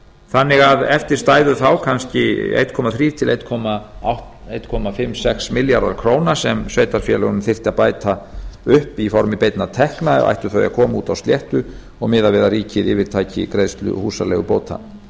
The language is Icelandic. þannig að eftir stæðu þá kannski eitt þriggja til eins og hálf eitt komma sex milljarðar króna sem sveitarfélögunum þyrfti að bæta upp í formi beinna tekna ættu þau að koma út á sléttu og miðað við að ríkið yfirtaki greiðslu húsaleigubóta